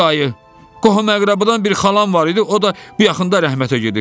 Dayı, qohum-əqrabadan bir xalam var idi, o da bu yaxında rəhmətə gedib.